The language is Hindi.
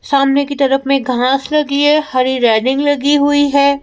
सामने की तरफ में घास लगी है हरी रेलिंग लगी हुई है।